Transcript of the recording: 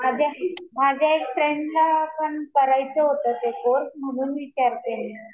माझ्या एक फ्रेंडला पण करायचा होता ते कोर्स. म्हणून विचारतीये मी.